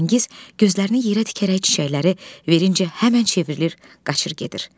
Firəngiz gözlərini yerə dikərək çiçəkləri verincə həmən çevrilir, qaçır gedir.